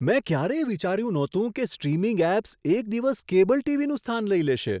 મેં ક્યારેય વિચાર્યું નહોતું કે સ્ટ્રીમિંગ એપ્સ એક દિવસ કેબલ ટીવીનું સ્થાન લઈ લેશે.